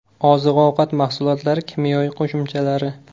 Oziq-ovqat mahsulotlari kimyoviy qo‘shimchalari.